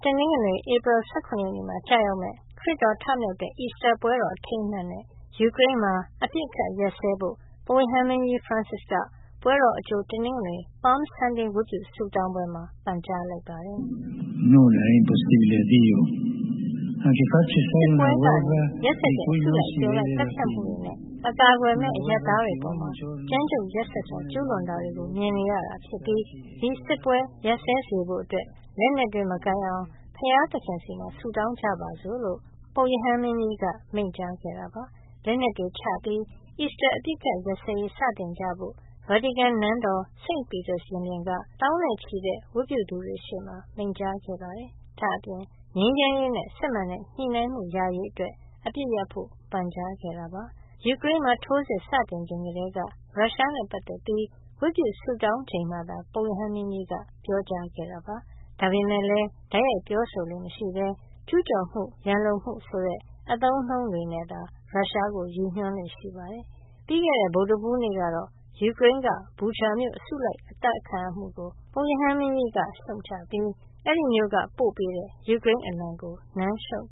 တနင်္ဂနွေ ဧပြီလ ၁၇ ရက်နေ့မှာ ကျရောက်မယ့် ခရစ်တော် ထမြောက်တဲ့ အီစတာပွဲတော် အထိမ်းအမှတ်အနေနဲ့ ယူကရိန်းမှာ အပစ်အခတ်ရပ်စဲဖို့ ပုပ်ရဟန်းမင်းကြီး Francis က ပွဲတော်အကြို တနင်္ဂနွေ (Palm Sunday) ဝတ်ပြုဆုတောင်းပွဲမှာ ပန်ကြားလိုက်ပါတယ်။ “စစ်ပွဲကနေ မျက်စိရှေ့မှာတင် ရက်စက်တဲ့ အစုလိုက်အပြုံလိုက် သတ်ဖြတ်မှုတွေနဲ့ အကာအကွယ်မဲ့ အရပ်သားတွေအပေါ် ကြမ်းကြုတ်ရက်စက်စွာ ကျူးလွန်တာတွေ မြင်နေရတာဖြစ်ပြီး ဒီစစ်ပွဲ ရပ်စဲစေဖို့အတွက် လက်နက်တွေ မကိုင်ကြအောင် ဘုရားသခင်ဆီမှာ ဆုတောင်းကြပါစို့။” လို့ ပုပ်ရဟန်းမင်းကြီးက မိန့်ကြားခဲ့တာပါ။ လက်နက်တွေချပြီး အီစတာ အပစ်အခတ်ရပ်စဲရေး စတင်ကြဖို့ ဗာတီကန်နန်းတော် St. Peter ရင်ပြင်က သောင်းနဲ့ချီတဲ့ ဝတ်ပြုသူတွေရှေ့မှာ မိန့်ကြားခဲ့ပါတယ်။ ဒါ့အပြင် ငြိမ်းချမ်းရေးနဲ့ စစ်မှန်တဲ့ ညှိနှိုင်းမှု ရရေးအတွက် အပစ်ရပ်ဖို့ ပန်ကြားခဲ့တာပါ။ ယူကရိန်းမှာ ထိုးစစ်စတင်ချိန်ကတည်းက ရုရှားနဲ့ပတ်သက်ပြီး ဝတ်ပြုဆုတောင်းချိန်မှာသာ ပုပ်ရဟန်းမင်းကြီးက ပြောကြားခဲ့တာပါ။ ဒါပေမဲ့လည်း တိုက်ရိုက်ပြောဆိုလေ့မရှိဘဲ ကျူးကျော်မှု၊ ရန်လိုမှုဆိုတဲ့ အသုံးအနှုန်းတွေနဲ့သာ ရုရှားကို ရည်ညွှန်းလေ့ရှိပါတယ်။ ပြီးခဲ့တဲ့ ဗုဒ္ဓဟူးနေ့ကတော့ ယူကရိန်းက Bucha မြို့ လူအစုလိုက် အသတ်ခံရမှုကို ပုပ်ရဟန်းမင်းကြီးက ရှုတ်ချပြီး အဲဒီမြို့က ပို့ပေးတဲ့ ယူကရိန်းအလံကို နမ်းရှုပ်